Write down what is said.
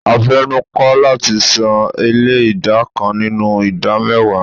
A fenu ko lati san ele ida kan ninu ida mewa